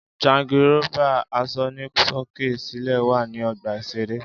Jangirófà asọnisókè-sílẹ̀ wà ní ọgbà-ìṣeré